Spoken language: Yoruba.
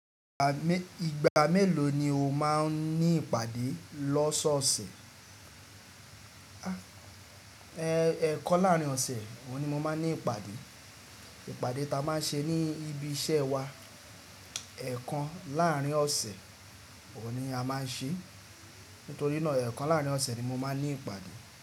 Ìgbà mélòó ni o máa ń ní ìpàdé lọ́sọ̀ọ̀sẹ̀? Ẹ̀ekan láàrín ọ̀sẹ̀ oun ni mo máa ń ní ìpàdé. Ìpàdé ta máa ń ṣe ní ibi iṣẹ́ wa ẹ̀ekan láàrín ọ̀sẹ̀ òun ni a máa ń ṣe. Nítorí náà ẹ̀ekan láàrín ọ̀sẹ̀ ni mo máa ń ní ìpàdé.